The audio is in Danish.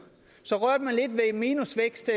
så rørte man lidt ved en minusvækst